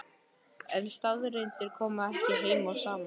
en staðreyndirnar koma ekki heim og saman.